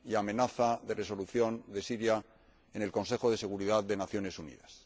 y amenaza de resolución sobre Siria en el Consejo de Seguridad de las Naciones Unidas.